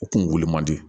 U kun wuli man di